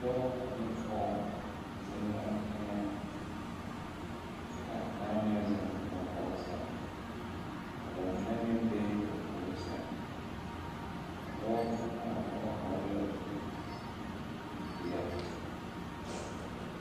Dɔɔ ane pɔɔ zeŋ la teŋɛ kyɛ kaa kaŋa meŋ zeŋ ba gɔɔ sɛŋ ka ba mine meŋ be ba puori sɛŋ a dɔɔ ne a o pɔgɔ hɔɔle la zupilpeɛle.